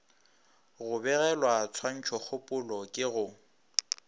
go bogelwa tshwantšhokgopolo ke go